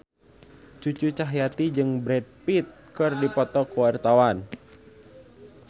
Cucu Cahyati jeung Brad Pitt keur dipoto ku wartawan